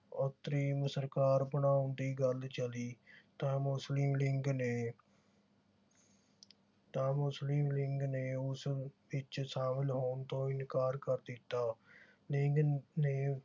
ਅੰਤਰੀਮ ਸਰਕਾਰ ਬਣਾਉਣ ਦੀ ਗੱਲ ਚੱਲੀ ਤਾ ਮੁਸਲਿਮ ਲੀਗ ਨੇ ਤਾਂ ਮੁਸਲਿਮ ਲੀਗ ਨੇ ਉਸ ਵਿਚ ਸ਼ਾਮਿਲ ਹੋਣ ਤੋਂ ਇਨਕਾਰ ਕਰ ਦਿੱਤਾ। ਲੀਗ ਨੇ